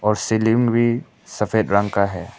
और सीलिंग भी सफ़ेद रंग का है।